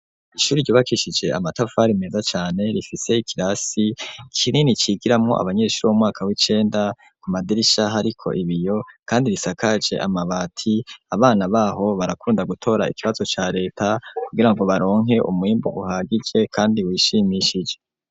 Ishuri ryubakishije amatafari meza cane, rifise ikirasi kinini cigiramwo abanyeshuri bo mu mwaka w'icenda, ku madirisha hariko ibiyo kandi risakaje amabati; abana b'aho barakunda gutora ikibazo ca leta, kugira ngo baronke umwimbu uhagije kandi wishimishije.